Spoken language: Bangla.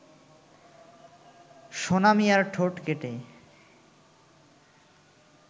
সোনা মিয়ার ঠোঁট কেটে